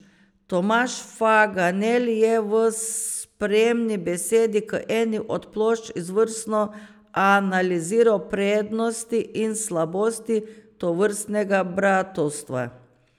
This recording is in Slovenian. Tomaž Faganel je v spremni besedi k eni od plošč izvrstno analiziral prednosti in slabosti tovrstnega bratovstva.